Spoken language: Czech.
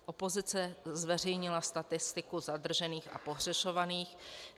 Opozice zveřejnila statistiku zadržených a pohřešovaných.